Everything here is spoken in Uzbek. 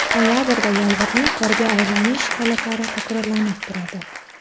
Noyabrda yomg‘irning qorga aylanish holatlari takrorlanib turadi.